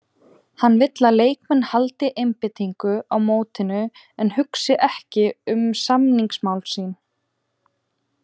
Hann vill að leikmenn haldi einbeitingu á mótinu en hugsi ekki um samningamál sín.